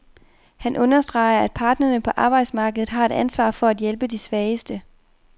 Han understreger, at parterne på arbejdsmarkedet har et ansvar for at hjælpe de svageste.